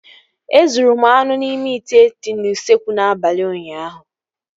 Ezuru m anụ n'ime ite dị n'usekwu n'abalị ụnyaahụ